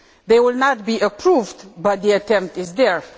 They will not be approved, but the attempt is there.